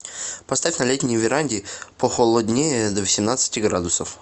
поставь на летней веранде похолоднее до восемнадцати градусов